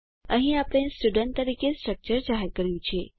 અહીં આપણે સ્ટુડન્ટ તરીકે સ્ટ્રક્ચર જાહેર કર્યું છે